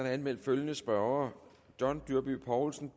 er anmeldt følgende spørgere john dyrby paulsen